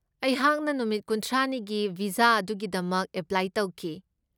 ꯑꯩꯍꯥꯛꯅ ꯅꯨꯃꯤꯠ ꯈꯨꯟꯊ꯭ꯔꯥꯅꯤꯒꯤ ꯚꯤꯖꯥ ꯑꯗꯨꯒꯤꯗꯃꯛ ꯑꯦꯄ꯭ꯂꯥꯏ ꯇꯧꯈꯤ꯫